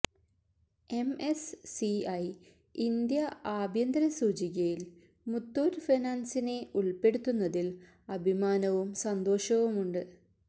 MS CI India ആഭ്യന്തര സൂചികയില് മുത്തൂറ്റ് ഫിനാന്സിനെ ഉള്പ്പെടുത്തുന്നതില് അഭിമാനവും സന്തോഷമുണ്ട്